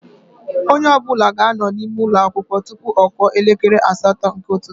Onye ọbụla ga-anọ n'ime ụlọ akwụkwọ tụpụ ọ kụọ elekere asatọ nke ụtụtụ